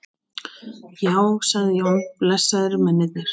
Já, sagði Jón, blessaðir mennirnir.